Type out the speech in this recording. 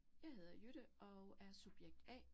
Jeg hedder Jytte og er subjekt A